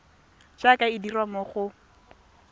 jaaka e dirwa mo go